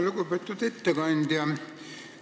Lugupeetud ettekandja!